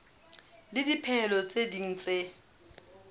le dipehelo tse ding tse